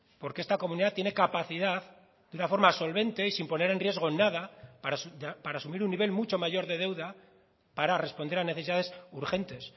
porque esta comunidad tiene capacidad de una forma solvente y sin poner en riesgo nada para asumir un nivel mucho mayor de deuda para responder a necesidades urgentes